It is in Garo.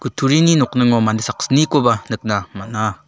kutturini nokningo mande saksnikoba nikna man·a.